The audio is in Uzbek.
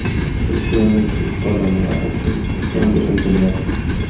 Turkiyalik ish odamlari O‘zbekistonga intilyapti.